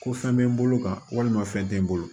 Ko fɛn bɛ n bolo ka walima fɛn tɛ n bolo